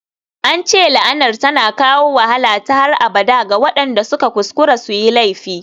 An ce la'anar tana kawo wahala ta har abada ga waɗanda suka kuskura su yi laifi.